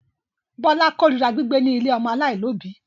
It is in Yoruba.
Bọ́lá korira gbígbé ní ilé ọmọ aláìlóòbí.